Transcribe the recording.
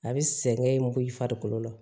A bɛ sɛgɛn in bɔ i farikolo la